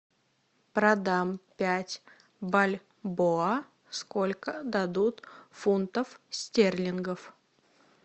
продам пять бальбоа сколько дадут фунтов стерлингов